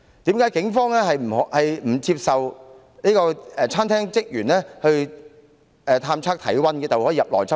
再者，警方為何不接受餐廳職員探測體溫，便直接入內執法？